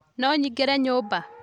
No nyingĩre nyũmba